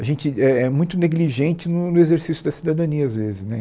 A gente é é muito negligente no no exercício da cidadania, às vezes, né?